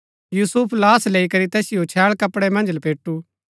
यूसुफ लाश लैई करी तैतिओ छैळ कपड़ै मन्ज लपेटु